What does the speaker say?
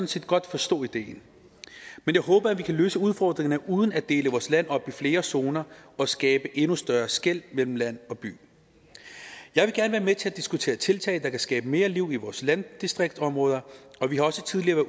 set godt forstå idéen men jeg håber at vi kan løse udfordringerne uden at dele vores land op i flere zoner og skabe endnu større skel mellem land og by jeg vil gerne være med til at diskutere tiltag der kan skabe mere liv i vores landdistriktsområder og vi har også tidligere